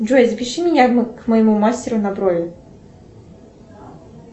джой запиши меня к моему мастеру на брови